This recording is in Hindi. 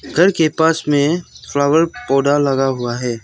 घर के पास में फ्लावर पौडा लगा हुआ है।